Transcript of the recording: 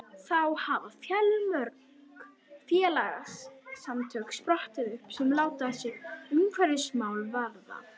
Þá hafa fjölmörg félagasamtök sprottið upp sem láta sig umhverfismál varða.